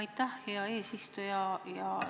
Aitäh, hea eesistuja!